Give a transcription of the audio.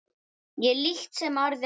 Ég líkt sem aðrir var.